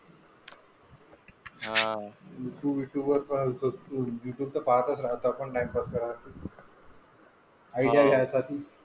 हा, यूट्यूब ते तर यूट्यूब तर पाहतच राहतो आपण, ,.